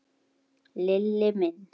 Lilli minn.